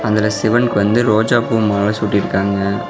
அதுல சிவன்க்கு வந்து ரோஜா பூ மால சூட்டிருக்காங்க.